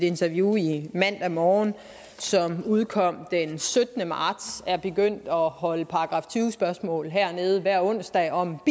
interview i mandag morgen som udkom den syttende marts at han er begyndt at holde § tyve spørgsmål hernede hver onsdag om